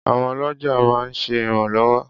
Àwọn ọlọ́jà máa ń ṣe ìrànlọ́wọ́.